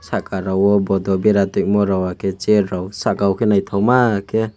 sakarowo bottle berai tongmarok hwnkhe chair rok saka naithokmakhe.